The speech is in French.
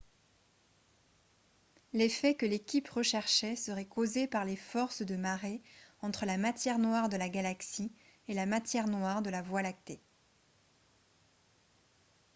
l'effet que l'équipe recherchait serait causé par les forces de marée entre la matière noire de la galaxie et la matière noire de la voie lactée